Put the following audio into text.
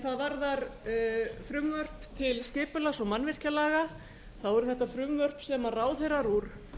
hvað varðar frumvarp til skipulags og mannvirkjalaga eru þetta frumvörp sem ráðherrar úr